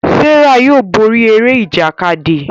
Serah yóò bóri Eré Ìjàkadì.